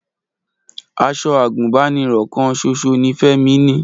Aṣọ àgùnbánirọ̀ kan ṣoṣo ni Fẹ́mi ni